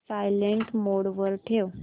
silent mode वर ठेव